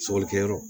Sɔgɔlikɛyɔrɔ